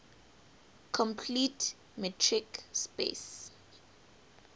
complete metric space